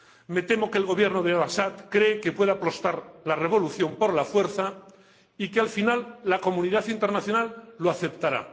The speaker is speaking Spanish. Me temo que el Gobierno de al Asad cree que puede aplastar la revolución por la fuerza y que, al final, la comunidad internacional lo aceptará.